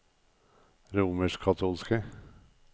romerskkatolske